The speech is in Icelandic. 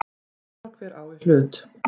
Sama hver á í hlut.